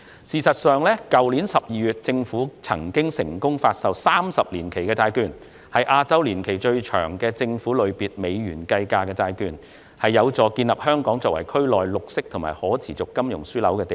事實上，政府在去年12月已成功發售30年期債券，是亞洲年期最長的政府類別美元計價債券，有助建立香港作為區內綠色和可持續金融樞紐的地位。